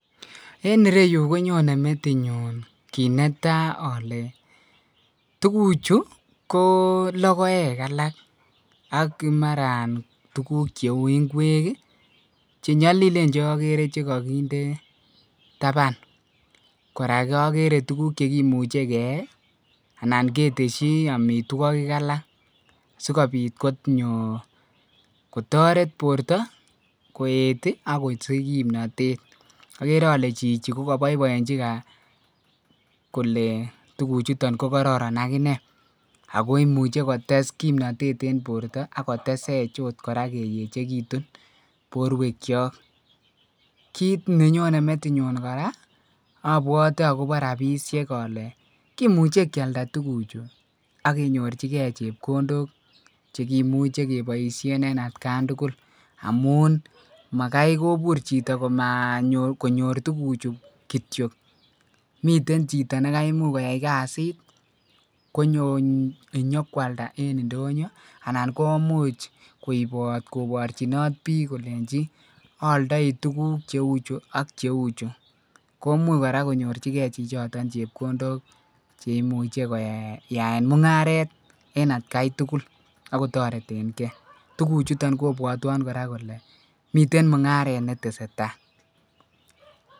En ireyu konyonen metinyun kit netai ale tuguk Chu ko logoek alak AK mara tuguk cheu ngwek chenyalilenbcheagere chikakinde taban koraa agere tuguk cheimuche keyai anan keteshi amitwogik alak sikobit konyor kotaret borta koet ako si h kimnatet agere ale Chichi kokabaibaenchi Kole tuguk chuton kokararan akinei akoimiche kotes kimnatet en borta akotesech kora keyechekitun borwek Chok kit nenyonen metinyun koraa abwati akobo rabinik ale kimuche kialda tuguk Chu akinyorchigei chepkondok cheimuche kebaishen en atkan tugul amun Makai kobir Chito makonyor tuguk chuton kityo miten Chito nikamuch koyai kasit konyo kwalda en indonyo anan komuche kobarta en bik kolenji ayaldae tuguk cheuchu AK komuch konyorchigei chichiton chepkondok cheimuche koyaen mungaret en atkai tugul akotareten gei tuguk chuton kobwateon koraa kole miten mungaret netesetai